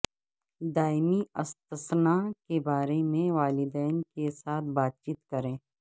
دائمی استثناء کے بارے میں والدین کے ساتھ بات چیت کریں